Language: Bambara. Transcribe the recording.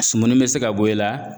Sumuni be se ka bɔ i la.